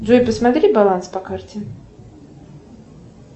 джой посмотри баланс по карте